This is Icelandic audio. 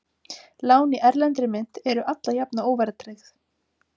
Lán í erlendri mynt eru alla jafna óverðtryggð.